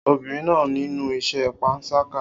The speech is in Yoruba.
Obìnrin náà nínú ìṣe panṣágà